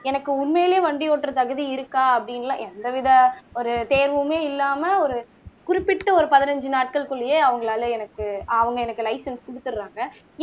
எனக்கு உண்மையிலேயே வண்டி ஓட்டுற தகுதி இருக்கா அப்படின்னுலாம் எந்தவித ஒரு தேர்வுமே இல்லாம ஒரு குறிப்பிட்ட ஒரு பதினைந்து நாட்களுக்குள்ளேயே அவங்களால எனக்கு அவங்க எனக்கு லைசன்ஸ் குடுத்துர்றாங்க